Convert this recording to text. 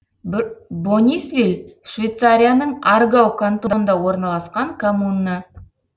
бонисвиль швейцарияның аргау кантонында орналасқан коммуна